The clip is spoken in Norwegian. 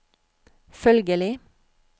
følgelig